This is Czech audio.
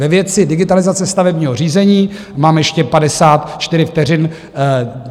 Ve věci digitalizace stavebního řízení, mám ještě 54 vteřin.